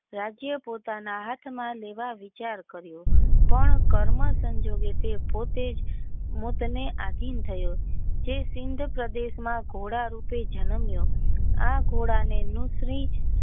રાજ્ય પિતાના હાથ માં લેવા વિચાર કર્યો પણ કર્મ સંજોગે તે પોતે જ માટે ને આધીન થયો તે સિંઘ પ્રદેશ ના ઘોડા રૂપે જન્મ્યો આ ઘોડા ને ન્યુટ્રી.